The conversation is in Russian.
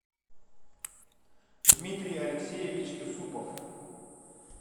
дмитрий алексеевич юсупов